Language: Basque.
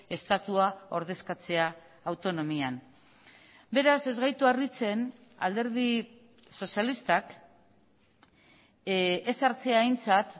estatua ordezkatzea autonomian beraz ez gaitu harritzen alderdi sozialistak ez hartzea aintzat